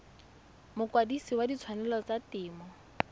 mokwadise wa ditshwanelo tsa temo